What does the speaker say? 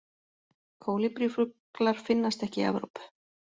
Kólibrífuglar finnast ekki í Evrópu.